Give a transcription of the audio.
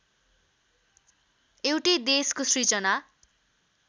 एउटै देशको सिर्जना